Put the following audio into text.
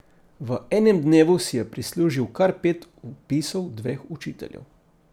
V enem dnevu si je prislužil kar pet vpisov dveh učiteljev.